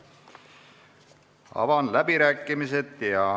Avan läbirääkimised.